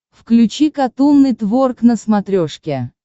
включи катун нетворк на смотрешке